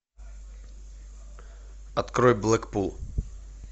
открой блэкпул